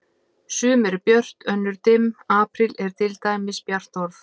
Sum eru björt, önnur dimm, apríl er til dæmis bjart orð.